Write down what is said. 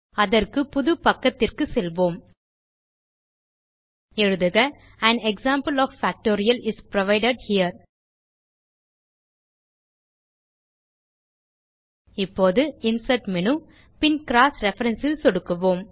அதற்கு புது பக்கத்திற்கு செல்வோம் எழுதுக an example of factorial is provided here இப்போது இன்சர்ட் மேனு பின் க்ராஸ் ரெஃபரன்ஸ் ல் சொடுக்குவோம்